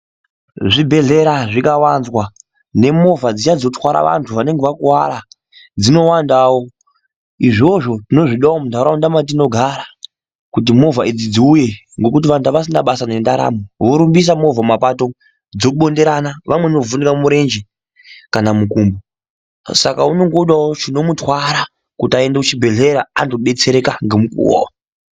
Zvibhedhlera zvikawanzwa nemovha dziya dzinotwara vantu vanenge vakuwara dzinowandawo, izvozvo tinozvida mundaraunda mwatinogara kuti movha idzi dziuye kuti vantu avasisina basa nendaramo vorumbisa movha mumapato umu dzobonderana vamweni vovhunira murenje kana mukumbo saka unenge odawo chinomutwara kuti aende kuchibhedhlera andobetsereka ngomukuwo.